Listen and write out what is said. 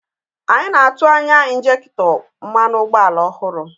Anyị na-atụ anya injektọ mmanụ ụgbọala ọhụrụ